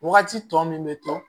Wagati tɔ min bɛ to